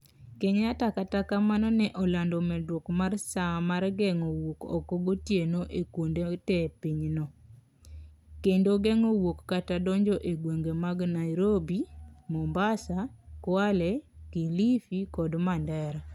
Kenyatta kata kamano ne olando medruok mar saa mar geng'o wuok oko gotieno e kuonde te pinyno, kendo geng'o wuok kata donjo e gwenge mag Nairobi, Mombasa, Kwale, Kilifi kod Mandera